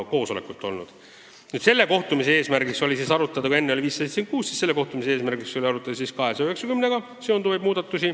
Kui enne oli arutelu all eelnõu 576, siis selle kohtumise eesmärk oli arutada eelnõuga 290 seonduvaid muudatusi.